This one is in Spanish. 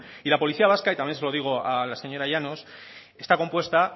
y la policía vasca y también se lo digo a la señora llanos está compuesta